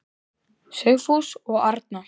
Sigfús og Arna.